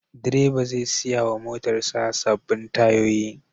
Direba zai saya wa motarsa sabbin tayoyi.